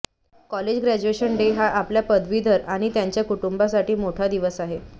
college graduation day हा आपल्या पदवीधर आणि त्यांच्या कुटुंबासाठी मोठा दिवस आहे